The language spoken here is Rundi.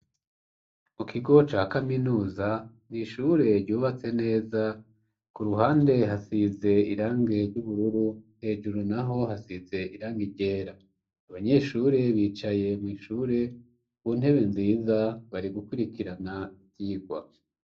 Mu kigo ca kaminuza n' ishure ryubatse neza, ku ruhande hasize irange ry'ubururu hejuru naho hasize irange ryera, abanyeshure bicaye mw' ishure ku ntebe nziza bari gukurikirana ivyigwa